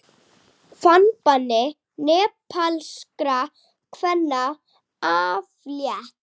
Farbanni nepalskra kvenna aflétt